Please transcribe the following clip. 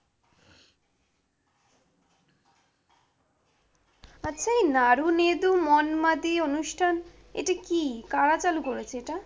আচ্ছা, এই নাড়ুনেদু মন্মাদি এই অনুষ্ঠান এটা কি? কারা চালু করেছে এটা?